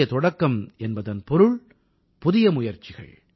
புதிய தொடக்கம் என்பதன் பொருள் புதிய முயற்சிகள்